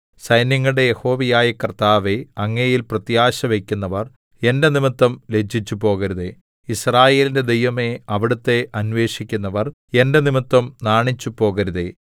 സൈന്യങ്ങളുടെ യഹോവയായ കർത്താവേ അങ്ങയിൽ പ്രത്യാശ വയ്ക്കുന്നവർ എന്റെ നിമിത്തം ലജ്ജിച്ചുപോകരുതേ യിസ്രായേലിന്റെ ദൈവമേ അവിടുത്തെ അന്വേഷിക്കുന്നവർ എന്റെ നിമിത്തം നാണിച്ചുപോകരുതേ